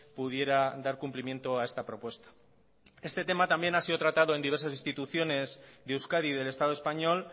pudiera dar cumplimiento a esta propuesta este tema también ha sido tratado en diversas instituciones de euskadi y del estado español